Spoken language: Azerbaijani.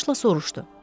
Təlaşla soruşdu: